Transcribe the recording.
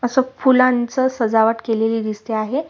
अस फुलांच सजावट केलेली दिसते आहे.